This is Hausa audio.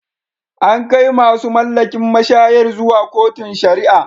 An kai masu mallakin mashayar zuwa kotun sharia.